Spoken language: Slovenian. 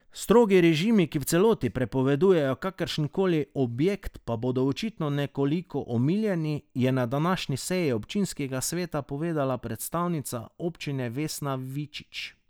Strogi režimi, ki v celoti prepovedujejo kakršen koli objekt, pa bodo očitno nekoliko omiljeni, je na današnji seji občinskega sveta povedala predstavnica občine Vesna Vičič.